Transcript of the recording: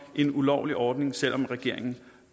en ulovlig ordning selv om regeringen